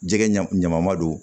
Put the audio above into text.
Jɛgɛ ɲa ma don